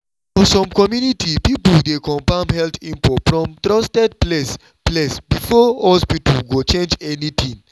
for some community people dey confirm health info from trusted place place before hospital go change anything.